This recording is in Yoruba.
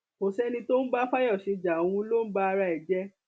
kò sẹni tó ń bá fayọṣe ja òun ló ń ba ara ẹ jẹ